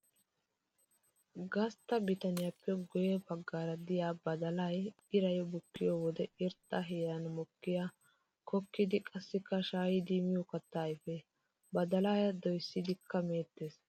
Gastta bitaniyappe guye bagan de'iya badallay iray bukkiyo wode irxxa heeran mokkiya kokkiddi qassikka shaa'iddi miyo katta ayfe. Badallaa doyssidikka meetes.